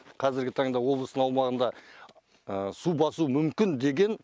қазіргі таңда облыстың аумағында су басуы мүмкін деген